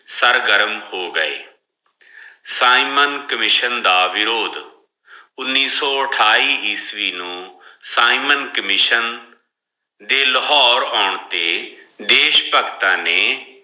sir ਘਰਮ ਹੋ ਗਾਏ ਸਾਇਮਨ ਕਾਮਿਸ਼ਿਓਂ ਦਾ ਵਿਰੋਦੇ ਉਨੀ ਸੋ ਅਟੇਈ ਈਸਵੀ ਨੂ ਸੇਈ ਮਨ ਕਾਮਿਸ਼ਿਓਂ ਦੇ ਲਾਹੋਰੇ ਆਂ ਤੇ ਦਿਸ਼ ਭਗਤਾਂ ਨੇ